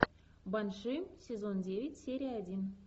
банши сезон девять серия один